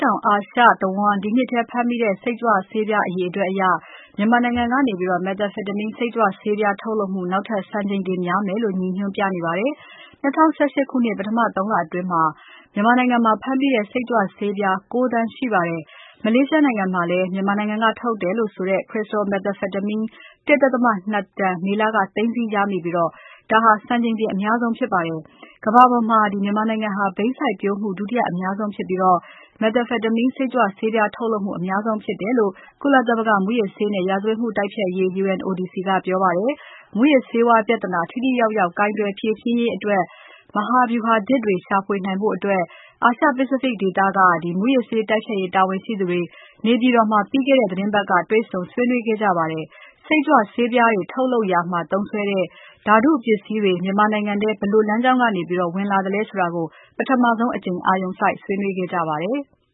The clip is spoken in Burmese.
တောင်အာရှတဝန်း ဒီနှစ်ထဲဖမ်းမိတဲ့ စိတ်ကြွဆေးပြားအရေအတွက်အရ မြန်မာနိုင်ငံကနေ methamphetamine စိတ်ကြွဆေးထုတ်လုပ်မှု နောက်ထပ် စံချိန်တင်များတယ်လို့ ရည်ညွှန်းပြနေပါတယ်။ ၂၀၁၈ ခုနှစ် ပထမ ၃ လအတွင်းမှာပဲ မြန်မာနိုင်ငံမှာ ဖမ်းမိတဲ့ စိတ်ကြွဆေးပြား ၉ သန်းရှိပါတယ်။ မလေးရှားနိုင်ငံမှာလည်း မြန်မာနိုင်ငံက ထုတ်တဲ့ crystal methamphetamine ၁.၂ တန် မေလက သိမ်းဆည်းရမိခဲ့ပြီး ဒါဟာ စံချိန်တင်အများဆုံးဖြစ်ပါတယ်။ ကမ္ဘာပေါ်မှာ မြန်မာနိုင်ငံဟာ ဘိန်းစိုက်ပျိုးမှု ဒုတိယအများဆုံးဖြစ်ပြီး methamphetamine စိတ်ကြွဆေးပြားထုတ်လုပ်မှု အများဆုံးဖြစ်တယ်လို့ ကုလသမဂ္ဂမူးယစ်ဆေးနဲ့ ရာဇဝတ်မှုတိုက်ဖျက်ရေး UNODC ကပြောပါတယ်။ မူးယစ်ဆေးဝါး ပြဿနာ ထိထိရောက်ရောက် ကိုင်တွယ်ဖြေရှင်းရေးအတွက် မဟာဗြူဟာသစ်တွေရှာဖွေနိုင်ဖို့ အာရှ Pacific ဒေသက မူးယစ်ဆေးတိုက်ဖျက်ရေးတာဝန်ရှိသူတွေ နေပြည်တော်မှာ ပြီးခဲ့တဲ့ သီတင်းပါ၏တ်က တေ့ွဆုံဆွေးနွေးခဲ့ကြပါတယ်။ စိတ်ကြွဆေးပြားတွေထုတ်လုပ်ရာမှာ သုံးစွဲတဲ့ ဓါတုပစ္စည်းတွေ မြန်မာနိုင်ငံထဲ ဘယ်လိုလမ်းကြောင်းက ဝင်လာသလဲဆိုတာကို ပထမဆုံးအကြိမ် အာရုံစိုက် ဆွေးနွေးခဲ့ကြပါတယ်။